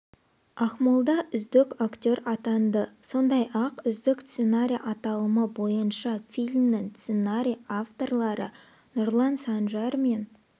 ақмолда үздік актер атанды сондай-ақ үздік сценарий аталымы бойынша фильмнің сценарий авторлары нұрлан санжар мен